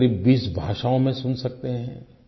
क़रीबक़रीब 20 भाषाओँ में सुन सकते हैं